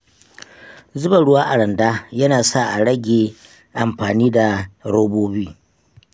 Zuba ruwa a randa yana sa a rage amfani da robobi.